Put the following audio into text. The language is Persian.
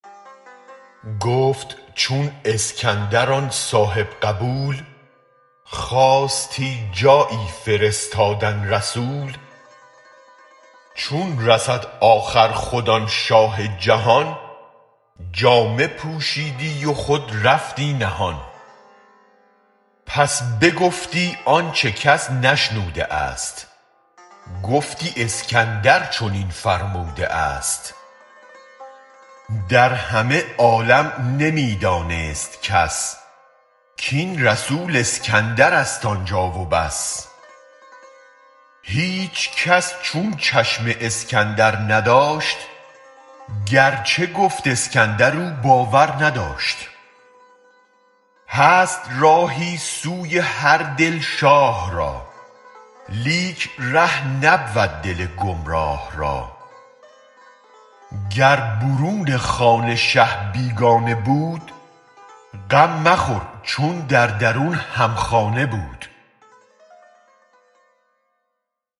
گفت چون اسکندر آن صاحب قبول خواستی جایی فرستادن رسول چون رسد آخر خود آن شاه جهان جامه پوشیدی و خود رفتی نهان پس بگفتی آنچ کس نشنوده است گفتی اسکندر چنین فرموده است در همه عالم نمی دانست کس کین رسول اسکندر است آن جا و بس هیچ کس چون چشم اسکندر نداشت گر چه گفت اسکندرم باور نداشت هست راهی سوی هر دل شاه را لیک ره نبود دل گمراه را گر برون خانه شه بیگانه بود غم مخور چون در درون هم خانه بود